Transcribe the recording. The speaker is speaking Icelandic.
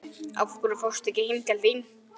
Af hverju fórstu ekki heim til þín?